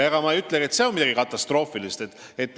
Ma ei ütle, et seegi oleks midagi katastroofilist.